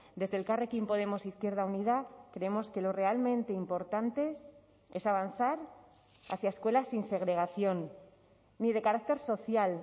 desde elkarrekin podemos izquierda unida creemos que lo realmente importante es avanzar hacia escuelas sin segregación ni de carácter social